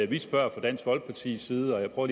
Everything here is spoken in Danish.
vi spørger fra dansk folkepartis side og